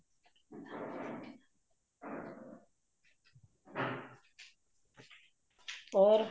ਹੋਰ